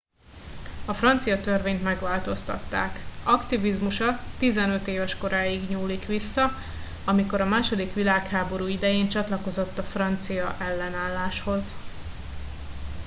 a francia törvényt megváltoztatták aktivizmusa 15 éves koráig nyúlt vissza amikor a második világháború idején csatlakozott a francia ellenálláshoz